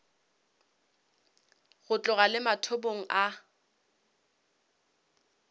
go tloga le mathomong a